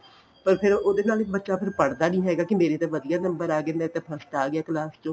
ਪਰ ਫੇਰ ਉਹਦੇ ਨਾਲ ਵੀ ਬੱਚਾ ਫੇਰ ਪੜਦਾ ਨੀਂ ਹੈਗਾ ਕੀ ਮੇਰੇ ਤਾਂ ਵਧੀਆ number ਆ ਗਏ ਮੈਂ ਤਾਂ first ਆ ਗਿਆ class ਚੋ